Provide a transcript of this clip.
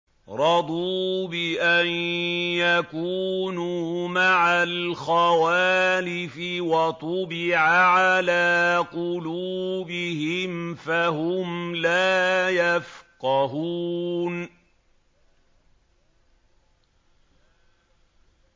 رَضُوا بِأَن يَكُونُوا مَعَ الْخَوَالِفِ وَطُبِعَ عَلَىٰ قُلُوبِهِمْ فَهُمْ لَا يَفْقَهُونَ